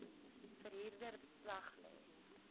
verhuurder beslag lê